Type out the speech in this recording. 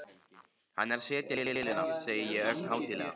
Hann er að setja í vélina, segi ég ögn hátíðlega.